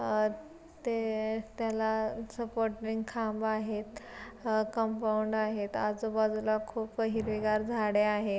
अह ते त्याला सपोर्ट नि खांब आहेत. अ कंपाऊंड आहेत. आजूबाजूला खूप हिरवीगार झाडे आहे.